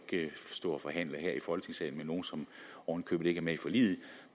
stå og forhandle her i folketingssalen med nogle som oven i købet ikke er med i forliget